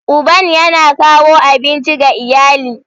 Uban yana kawo abinci ga iyali.